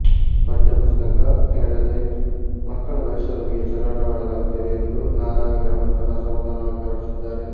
ಪಠ್ಯಪುಸ್ತಕ ನೀಡದೆ ಮಕ್ಕಳ ಭವಿಷ್ಯದೊಂದಿಗೆ ಚೆಲ್ಲಾಟವಾಡಲಾಗುತ್ತಿದೆ ಎಂದು ನಾರಾವಿ ಗ್ರಾಮಸ್ಥರು ಅಸಮಾಧಾನ ವ್ಯಕ್ತಪಡಿಸಿದ್ದಾರೆ